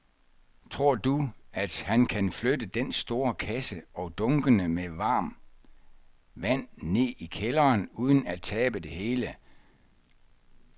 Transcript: Tror du, at han kan flytte den store kasse og dunkene med vand ned i kælderen uden at tabe det hele?